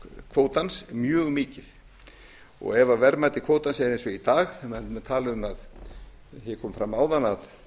kvótans mjög mikið ef verðmæti kvótans er eins og í dag menn tala um að sé komið fram áðan að